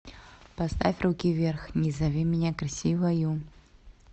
поставь руки вверх не зови меня красивою